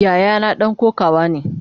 Yayana dan kokawa ne.